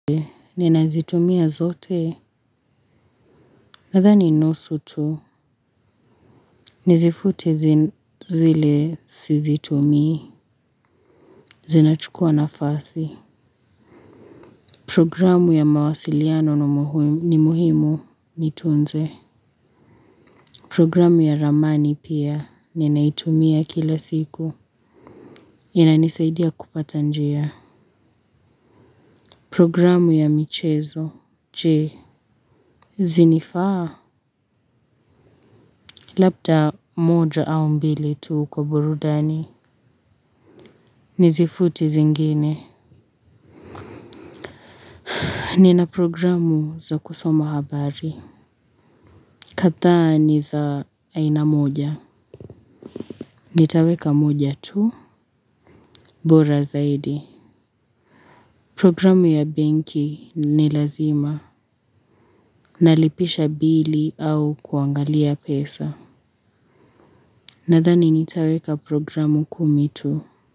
Ninazitumia zote. Nadhani nusu tu. Nizifute zile sizitumii. Zinachukua na fasi. Programu ya mawasiliano ni muhimu nitunze. Programu ya ramani pia ninaitumia kila siku. Inanisaidia kupata njia. Programu ya michezo. Che. Zinifaa. Labda moja au mbili tuu kwa burudani. Nizifute zingine. Nina programu za kusoma habari. Kathaa ni za aina moja. Nitaweka moja tu. Bora zaidi. Programu ya benki ni lazima. Nalipisha bili au kuangalia pesa. Nathani nitaweka programu kumi tu.